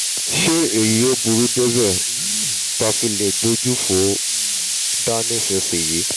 ṣé èyí ò burú débi um tá a fi lè gbójú fò um ó dá nísinsìnyí?